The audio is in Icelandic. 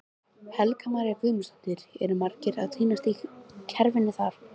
Helga María Guðmundsdóttir: Eru margir að týnast í kerfinu þar?